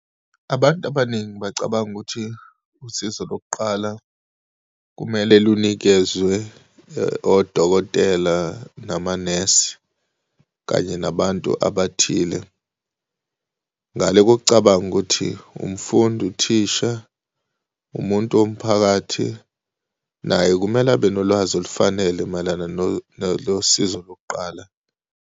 Abantu abaningi bacabanga ukuthi usizo lokuqala kumele linikezwe odokotela namanesi kanye nabantu abathile. Ngale kokucabanga ukuthi umfundi, uthisha, umuntu womphakathi naye kumele abe nolwazi olufanele mayelana nalosizo lokuqala.